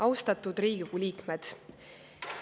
Austatud Riigikogu liikmed!